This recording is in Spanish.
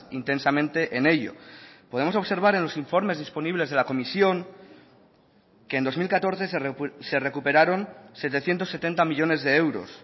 intensamente en ello podemos observar en los informes disponibles de la comisión que en dos mil catorce se recuperaron setecientos setenta millónes de euros